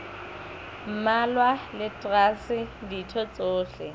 mmalwa le traste ditho tsohle